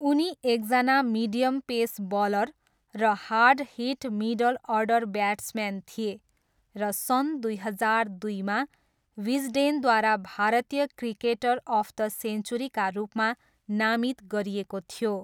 उनी एकजना medium pace bowler र hard hit middle order batsman थिए र सन् दुई हजार दुईमा विजडेनद्वारा भारतीय क्रिकेटर अफ द सेन्चुरीका रूपमा नामित गरिएको थियो।